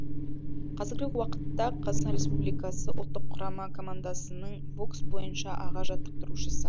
қазіргі уақытта қазақстан республикасы ұлттық құрама командасының бокс бойынша аға жаттықтырушысы